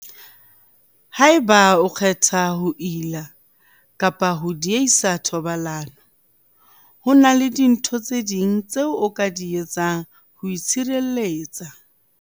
Haeba o kgetha ho ila kapa ho diehisa thobalano, ho na le dintho tse ding tseo o ka di etsang ho itshireletsa.